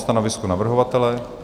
Stanovisko navrhovatele?